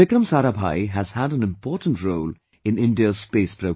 Vikram Sarabhai has had an important role in India's space program